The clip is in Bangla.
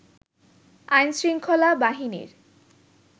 আইনশৃঙ্খলা বাহিনীর